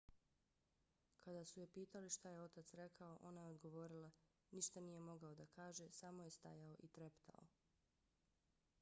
kada su je pitali šta je otac rekao ona je odgovorila: ništa nije mogao da kaže - samo je stajao i treptao.